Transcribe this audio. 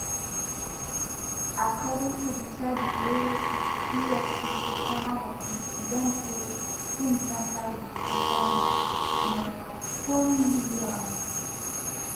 according to di charges wey efcc sama bobrisky dem say im tamper wit di sum of n400000